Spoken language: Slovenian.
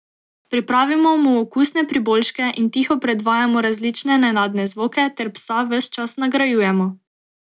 Pripravimo mu okusne priboljške in tiho predvajamo različne nenadne zvoke ter psa ves čas nagrajujemo.